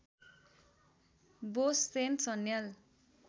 Bose Sen Sanyal